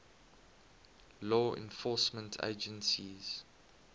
law enforcement agencies